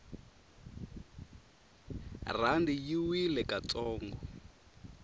rhandi yi wile ka ntsongo